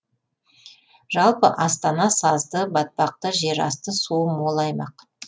жалпы астана сазды батпақты жерасты суы мол аймақ